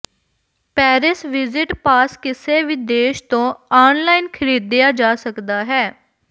Paris visit pass ਕਿਸੇ ਵੀ ਦੇਸ਼ ਤੋਂ ਆਨਲਾਈਨ ਖਰੀਦਿਆ ਜਾ ਸਕਦਾ ਹੈ